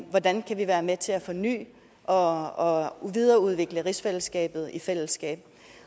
hvordan kan vi være med til at forny og videreudvikle rigsfællesskabet i fællesskab